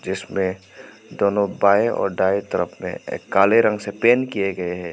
जिसमें दोनों बाएं और दाएं तरफ में काले रंग से पैंट किए गए हैं।